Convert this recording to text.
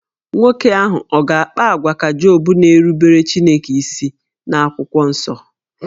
Nwoke ahụ ọ̀ ga-akpa àgwà ka Job na-erubere Chineke isi n'akwụkwọ nsọ?